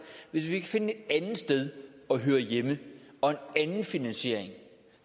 hvis vi kan finde et andet sted at høre hjemme og en anden finansiering